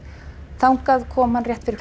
þangað kom hann rétt fyrir